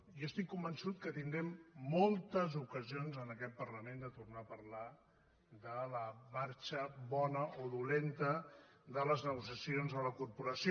jo estic convençut que tindrem moltes ocasions en aquest parlament de tornar a parlar de la marxa bona o dolenta de les negociacions a la corporació